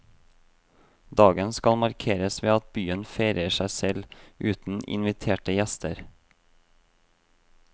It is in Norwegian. Dagen skal markeres ved at byen feirer seg selv, uten inviterte gjester.